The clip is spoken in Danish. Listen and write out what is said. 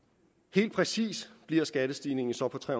helt præcis bliver skattestigningen så på tre